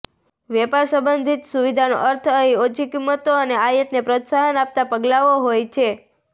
વેપાર સંબંધિત સુવિધાનો અર્થ અહીં ઓછી કિંમતો અને આયાતને પ્રોત્સાહન આપતાં પગલાંઓ હોય છે